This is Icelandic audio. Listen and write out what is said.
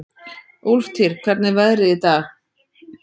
Úlftýr, hvernig er veðrið í dag?